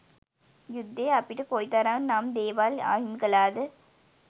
යුද්ධය අපිට කොයි තරම් නම් දේවල් අහිමි කලාද.